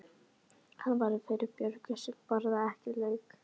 Hann var fyrir Björgu sem borðaði ekki lauk.